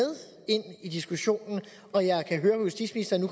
ind i diskussionen og jeg kan høre på justitsministeren at